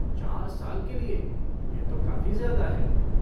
चार साल के लिए, यह तो काफ़ी ज्यादा है।